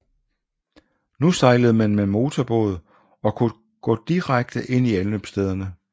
Nu sejlede man med motorbåd og kunne gå direkte ind i anløbsstederne